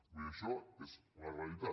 vull dir això és una realitat